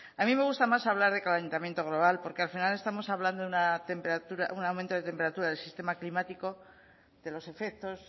a mí me gusta más hablar de calentamiento global porque al final estamos hablando de un aumento de temperatura del sistema climático de los efectos